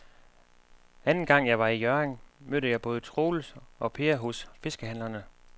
Anden gang jeg var i Hjørring, mødte jeg både Troels og Per hos fiskehandlerne.